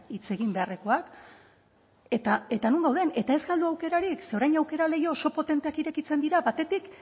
hitz egin beharrekoak eta non gauden eta ez galdu aukerarik ze orain aukera leiho oso potenteak irekitzen dira batetik